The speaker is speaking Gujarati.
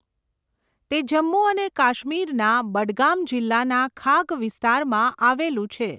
તે જમ્મુ અને કાશ્મીરના બડગામ જિલ્લાના ખાગ વિસ્તારમાં આવેલું છે.